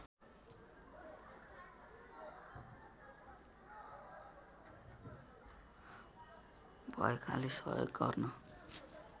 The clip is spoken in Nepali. भएकाले सहयोग गर्न